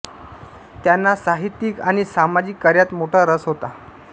त्यांना साहित्यिक आणि सामाजिक कार्यात मोठा रस होता